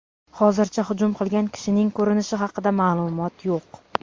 Hozircha hujum qilgan kishining ko‘rinishi haqida ma’lumot yo‘q.